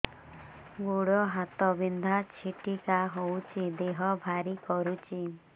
ଗୁଡ଼ ହାତ ବିନ୍ଧା ଛିଟିକା ହଉଚି ଦେହ ଭାରି କରୁଚି